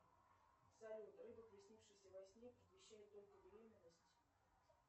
салют рыба приснившаяся во сне предвещает только беременность